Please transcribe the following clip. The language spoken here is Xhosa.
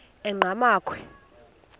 enqgamakhwe